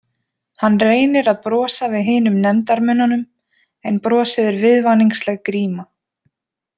Hann reynir að brosa við hinum nefndarmönnunum en brosið er viðvaningsleg gríma.